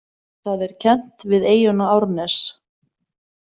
Það er kennt við eyjuna Árnes.